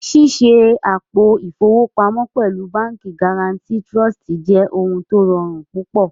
Ṣíṣẹ àpò ifowopamo pẹ̀lú Bánkì Guarantì Trụ̀stì jẹ́ ọ̀hun tó rọ̀run púpọ̀